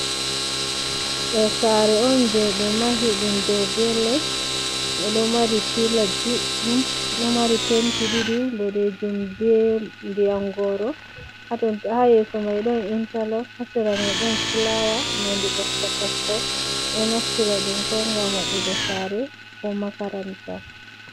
Ɗo saare'on jeɓe mahi ɗum ɗow bee les ɗon mari pilas ɗuɗɗum, ɗon mari penti ɗiɗi, boɗeejum bee ndiyam gooro haa yeeso mai ɗon intalop, haa sera mai ɗon fulawa nonde mɓokko mɓokko, ɗon naftira ɗum ngam waɗugo saare ko makaranta